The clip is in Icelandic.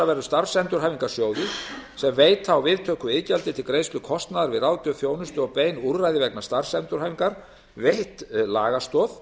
verður starfsendurhæfingarsjóði sem veita á viðtöku iðgjaldi til greiðslu kostnaðar við ráðgjöf þjónustu og bein úrræði vegna starfsendurhæfingar veitt lagastoð